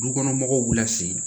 Dukɔnɔmɔgɔw b'u lasegin